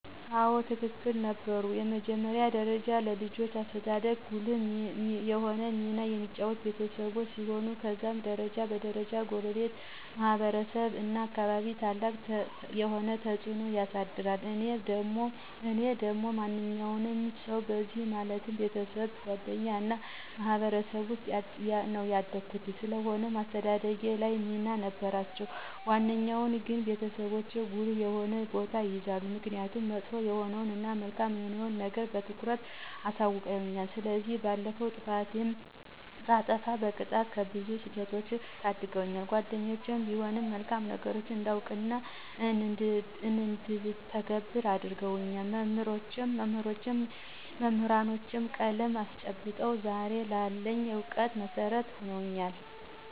አዎ በትክክል ነበሩ። በመጀመሪያ ደረጃ ለልጆች አስተዳደግ ጉልህ የሆነውን ሚና የሚጫወቱት ቤተሰቦች ሲሆኑ ከዛም ደረጃ በ ደረጃ ጎረቤት፣ ማህበረሰቡ እናም አካባቢው ታላቅ የሆነ ተፅዕኖን ያሳድራል። እኔም እንደ ማንኛውም ሰዉ በእነዚህ ማለትም፦ ቤተሰብ፣ ጓደኛ እና ማህበረሰብ ዉስጥ ነው ያደኩት። ስለሆነም በአስተዳደጌ ላይ ሚና ነበራቸው። በዋነኛነት ግን ቤተሰቦቼ ጉልህ የሆነውን ቦታ ይይዛሉ። ምክኒያቱም መጥፎ የሆነዉን እና መልካም የሆነዉን ነገር በትኩረት አሳዉቀዉኛል፤ ከዚህም ባለፈ ጥፋትንም ሳጠፋ በመቅጣት ከብዙ ስህተቶች ታድገውኛል። ጓደኞቼም ቢሆኑ መልካም ነገሮችን እንዳውቅ እና እንድተገብር እረድተውኛል፤ መምህራኖቼም ቀለም አስጨብጠው ዛሬ ላለኝ እውቀት መሠረት ሁነውኛል።